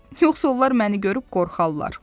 Yoxsa onlar məni görüb qorxarlar.